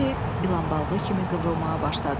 Noye ilan balığı kimi qıvrılmağa başladı.